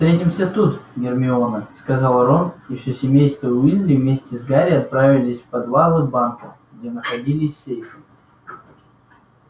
встретимся тут гермиона сказал рон и все семейство уизли вместе с гарри отправилось в подвалы банка где находились сейфы